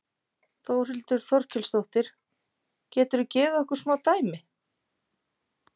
Þórhildur Þorkelsdóttir: Geturðu gefið okkur smá dæmi?